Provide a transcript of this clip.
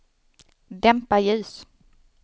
dämpa ljus